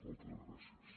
moltes gràcies